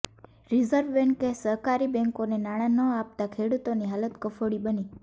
reserve બેંકે સહકારી બેંકોને નાણાં ન આપતાં ખેડૂતોની હાલત કફોડી બની